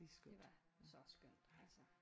Det var så skønt altså